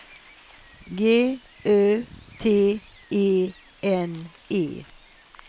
G Ö T E N E